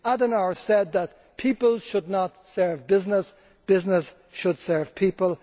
Adenauer said that people should not serve business, business should serve people.